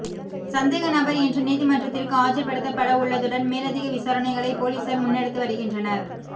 சந்தேக நபர் இன்று நீதிமன்றத்திற்கு ஆஜர்படுத்தப்படவுள்ளதுடன் மேலதிக விசாரணைகளை பொலிஸார் முன்னெடுத்து வருகின்றனர்